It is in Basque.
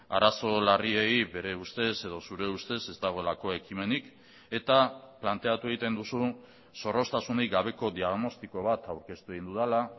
arazo larriei bere ustez edo zure ustez ez dagoelako ekimenik eta planteatu egiten duzu zorroztasunik gabeko diagnostiko bat aurkeztu egin dudala